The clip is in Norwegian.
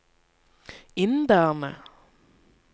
inderne